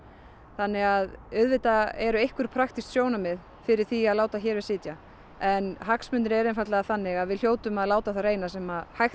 þannig að auðvitað eru einhver praktísk sjónarmið fyrir því að láta hér við sitja en hagsmunirnir eru einfaldlega þannig að við hljótum að láta á það reyna sem hægt